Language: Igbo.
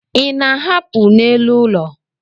Ị na-ahapụ n'elu ụlọ?